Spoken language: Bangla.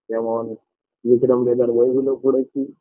যেমন বিক্রম বেতাল বইগুলো পড়েছি